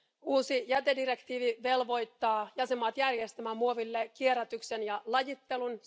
Uusi jätedirektiivi velvoittaa jäsenmaat järjestämään muoville kierrätyksen ja lajittelun.